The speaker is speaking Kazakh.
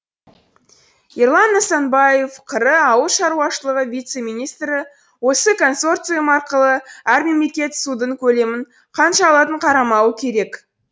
ерлан нысанбаев қр ауыл шаруашылығы вице министрі осы консорциум арқылы әр мемлекет судың көлемін қанша алатын қарамауы керек